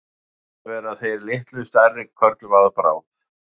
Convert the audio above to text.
stundum verða þeir litlu stærri körlum að bráð